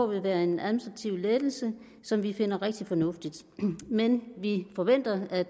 vil være en administrativ lettelse som vi finder rigtig fornuftig men vi forventer at